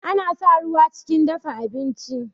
Ana sa ruwa chikin dafa abinchi